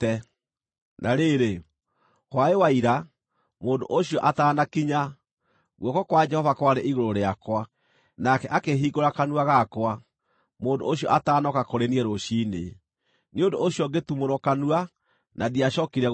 Na rĩrĩ, hwaĩ-wa-ira, mũndũ ũcio ataanakinya, guoko kwa Jehova kwarĩ igũrũ rĩakwa, nake akĩhingũra kanua gakwa, mũndũ ũcio atanooka kũrĩ niĩ rũciinĩ. Nĩ ũndũ ũcio ngĩtumũrwo kanua, na ndiacookire gũkira.